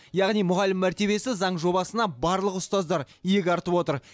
яғни мұғалім мәртебесі заң жобасына барлық ұстаздар иек артып отыр